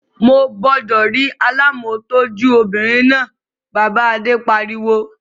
Mo gbúdọ̀ rí alámòtújó obìnrin náà! Bàbá Adé pariwo.